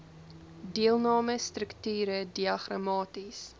deelname strukture diagramaties